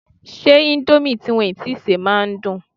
Ṣé indomie tí wọn tíi sè máa ń dùn?